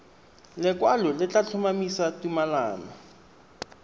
lekwalo le tla tlhomamisa tumalano